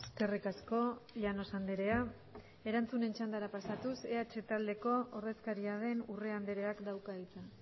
eskerrik asko llanos andrea erantzunen txandara pasatuz eh taldeko ordezkaria den urrea andreak dauka hitza